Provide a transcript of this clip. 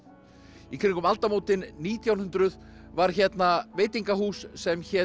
í kringum aldamótin nítján hundruð var hérna veitingahús sem hét